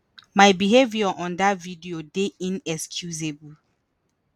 “my behaviour on dat video dey inexcusable.